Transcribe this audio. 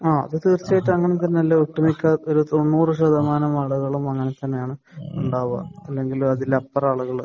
ആഹ്. അത് തീർച്ചയായിട്ടും അങ്ങനെ തന്നെയല്ലേ ഒട്ടുമിക്ക ഒരു തൊണ്ണൂറ് ശതമാനം ആളുകളും അങ്ങനെ തന്നെയാണ് ഉണ്ടാവുക. അല്ലെങ്കിൽ അതിൽ അത്ര ആളുകൾ.